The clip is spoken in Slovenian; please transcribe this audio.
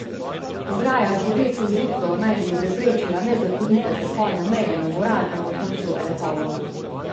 Ograja z bodečo žico naj bi preprečila nezakonite prehode meje na goratem območju Elhovo.